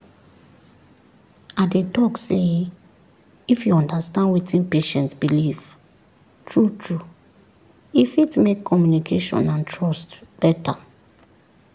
i dey talk sey if you understand wetin patient believe true-true e fit make communication and trust better.